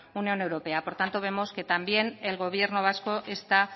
unión europea por tanto vemos que también el gobierno vasco está